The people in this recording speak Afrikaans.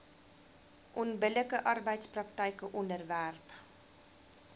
onbillike arbeidspraktyke onderwerp